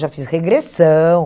Já fiz regressão.